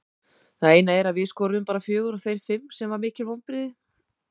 Það eina er að við skoruðum bara fjögur og þeir fimm sem var mikil vonbrigði.